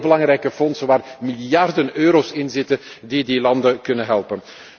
Dat zijn heel belangrijke fondsen waar miljarden euro's in zitten die die landen kunnen helpen.